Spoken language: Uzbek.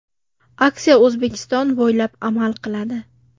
Aksiya O‘zbekiston bo‘ylab amal qiladi.